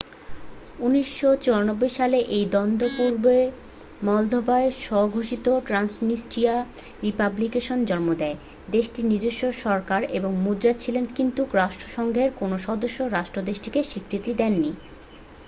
১৯৯৪ সালে এই দ্বন্দ্ব পূর্ব মলদোভায় স্ব-ঘোষিত ট্র‍্যান্সনিস্ট্রিয়া রিপাবলিকের জন্ম দেয় দেশটির নিজস্ব সরকার এবং মুদ্রা ছিল কিন্তু রাষ্ট্রসংঘের কোন সদস্য রাষ্ট্র দেশটিকে স্বীকৃতি দেয়নি।